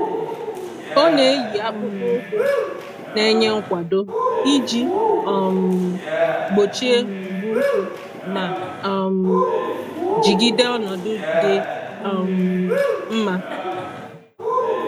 Ọ na-eyi akpụkpọ ụkwụ na-enye nkwado iji um gbochie mgbu ụkwụ ma um jigide ọnọdụ dị um mma.